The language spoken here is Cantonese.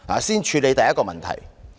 先處理第一個問題。